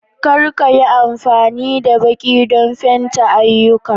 Kar ka yi amfani da baki don fenti ayyukana